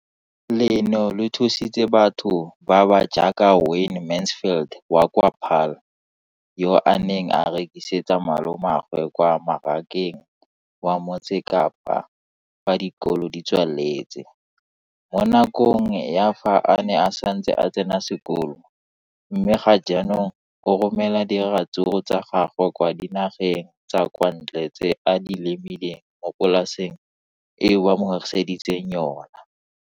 Leno le thusitse batho ba ba jaaka Wayne Mansfield, 33, wa kwa Paarl, yo a neng a rekisetsa malomagwe kwa Marakeng wa Motsekapa fa dikolo di tswaletse, mo nakong ya fa a ne a santse a tsena sekolo, mme ga jaanong o romela diratsuru tsa gagwe kwa dinageng tsa kwa ntle tseo a di lemileng mo polaseng eo ba mo hiriseditseng yona.